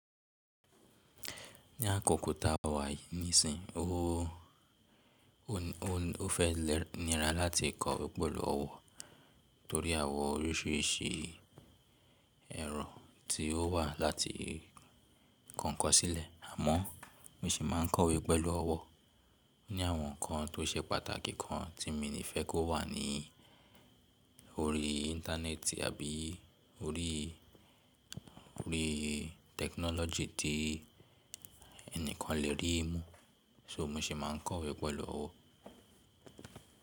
Ní àkókò tá a wà nísìnyí, ó, ó, ó fẹ́ nira láti kọ̀wé pẹ̀lú ọ̀wọ̀ torí àwọn oríṣiríṣi ẹ̀rọ tí ó wà láti kọ̀nkọ̀ sílẹ̀. Àmọ́ mo sì máa ń kọ̀wé pẹ̀lú ọ̀wọ̀ ní àwọn ǹkan tó ṣe pàtàkì kan tí mi ní fẹ́ kó wà ní orí íńtánẹ́ẹ̀tì àbí orí, orí tẹkinọ́lọ́gì tí ẹnìkan le rí i mú. So mo sì máa ń kọ̀wé pẹ̀lú ọ̀wọ̀.